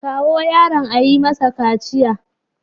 Kawo yaron a yi masa kaciya.